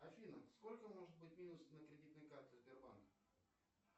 афина сколько может быть минус на кредитной карте сбербанка